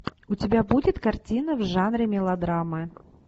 у тебя будет картина в жанре мелодрамы